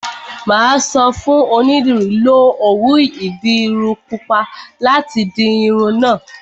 Mà á sọ fún onídìrí, 'Lo òwú ìdiru pupa láti di irun náà'